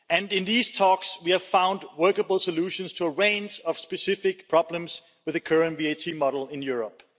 In these talks, we have found workable solutions to a range of specific problems with the current VAT model in Europe.